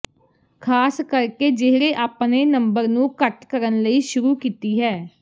ਖ਼ਾਸ ਕਰਕੇ ਜਿਹੜੇ ਆਪਣੇ ਨੰਬਰ ਨੂੰ ਘੱਟ ਕਰਨ ਲਈ ਸ਼ੁਰੂ ਕੀਤੀ ਹੈ